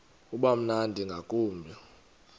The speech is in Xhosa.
uba mnandi ngakumbi